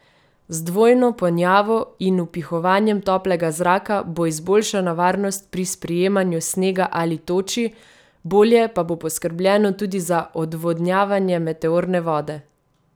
Z dvojno ponjavo in vpihovanjem toplega zraka bo izboljšana varnost pri sprijemanju snega ali toči, bolje pa bo poskrbljeno tudi za odvodnjavanje meteorne vode.